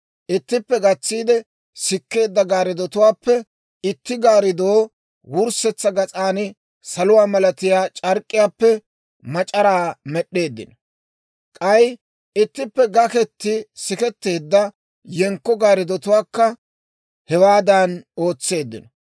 Ittippe gatsiide sikkeedda gaariddutuwaappe itti gaariddoo wurssetsa gas'an saluwaa malatiyaa c'ark'k'iyaappe mac'araa med'd'eeddino. K'ay ittippe gaketi siketteedda yenkko gaaridduwaankka hewaadan ootseeddino.